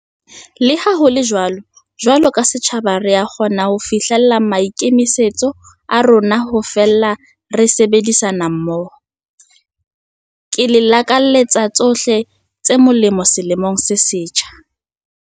Leha ho le jwalo, jwalo ka setjhaba re a kgona ho fihlela maikemisetso a rona ha feela re sebedisana mmoho. Ke le lakaletsa tsohle tse molemo selemong se setjha.